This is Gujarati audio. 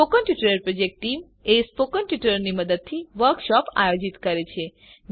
spoken tutorial project team spoken ટ્યુટોરીયલોનાં મદદથી વર્કશોપોનું આયોજન કરે છે